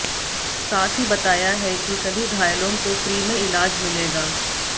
साथ ही बताया है कि सभी घायलों को फ्री में इलाज मिलेगा